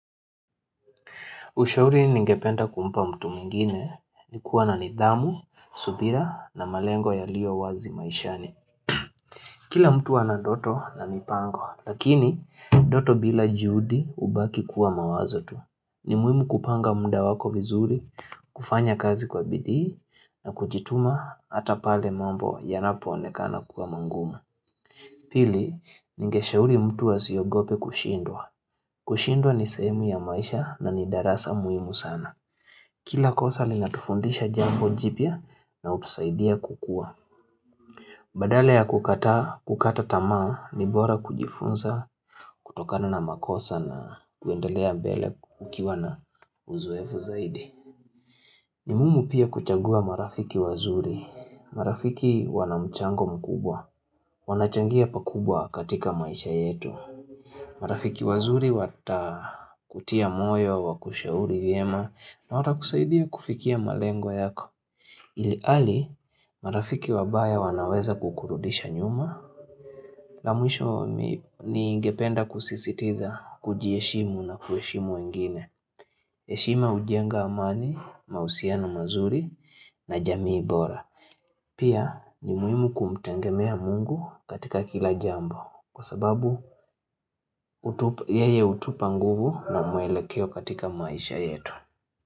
Ushauri ningependa kumpa mtu mwingine ni kuwa na nidhamu, subira na malengo yaliyo wazi maishani. Kila mtu anandoto na mipango, lakini ndoto bila juhudi hubaki kuwa mawazo tu. Ni muhimu kupanga muda wako vizuri, kufanya kazi kwa bidii na kujituma ata pale mambo yanapo onekana kuwa magumu. Pili, ningeshauri mtu asiogope kushindwa. Kushindwa ni sehemu ya maisha na ni darasa muhimu sana. Kila kosa linatufundisha jambo jipya na hutusaidia kukua. Badala ya kukataa kukata tamaa ni bora kujifunza kutokana na makosa na kuendelea mbele ukiwa na uzoefu zaidi. Ni muhimu pia kuchagua marafiki wazuri. Marafiki wanamchango mkubwa. Wanachangia pakubwa katika maisha yetu. Marafiki wazuri watakutia moyo wakushauri vyema na watakusaidia kufikia malengo yako. Ilhali marafiki wabaya wanaweza kukurudisha nyuma la mwisho ningependa kusisitiza kuji heshimu na kuheshimu wengine heshima hujenga amani, mahusiano mazuri na jamii bora Pia ni muhimu kumtegemea mungu katika kila jambo Kwa sababu yeye hutupa nguvu na mwelekeo katika maisha yetu.